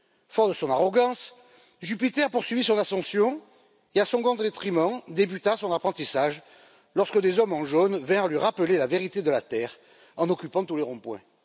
Fort de son arrogance, Jupiter poursuivit son ascension et, à son grand détriment, débuta son apprentissage lorsque des hommes en jaune vinrent lui rappeler la vérité de la Terre en occupant tous les ronds points.